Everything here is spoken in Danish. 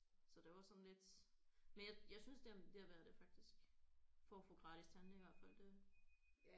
Så det var sådan lidt men jeg jeg synes det det er værd det faktisk for at få gratis tandlæge i hvert fald det